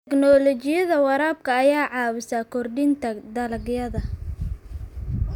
Tignoolajiyada waraabka ayaa caawisa kordhinta dalagyada.